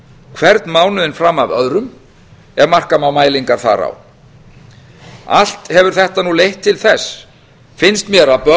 hvern mánuðinn fram af öðrum ef marka má mælingar þar á allt hefur þetta leitt til þess finnst mér að